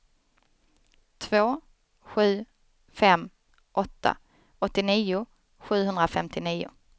två sju fem åtta åttionio sjuhundrafemtionio